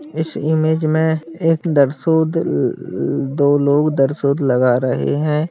इस इमेज में एक दरसूद ल ल दो लोग दरसूद लगा रहे है।